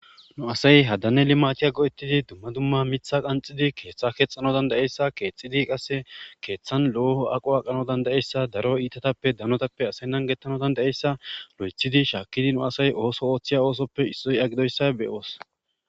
nu asay haddane li matiya go7ettidi dumma dumma mitha qanxidi keeththa keexxano dandayeyssa keexxidi qasse keeththan looho aqo aqano dandayeyssa daro iitatappe danotappe asaynnan gettano dandayeyssa lo7ethidi shaakkidi nu asay ooso ooththiya oosoppe isxoy agidoyssa beyoos